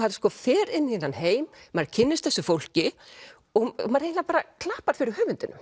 fer inn í þennan heim maður kynnist þessu fólki og maður eiginlega bara klappar fyrir höfundinum